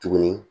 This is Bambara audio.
Tuguni